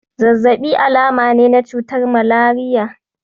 Zazzaɓi alama ne na cutar malariya.